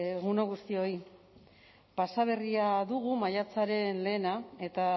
egun on guztioi pasa berria dugu maiatzaren lehena eta